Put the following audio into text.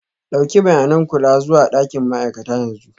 Ɗauki bayanin kula zuwa ɗakin ma'aikata yanzu.